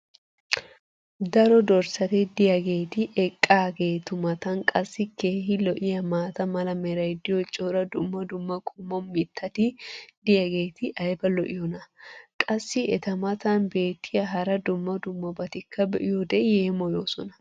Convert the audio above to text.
daro dorssati diyaageeti eqqaageetu matan qassi keehi lo'iyaa maata mala meray diyo cora dumma dumma qommo mitati diyaageti ayba lo'iyoonaa? qassi eta matan beetiya hara dumma dummabatikka be'iyoode yeemmoyoosona.